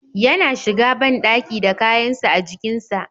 Yana shiga bandaki da kayansa ajikin sa.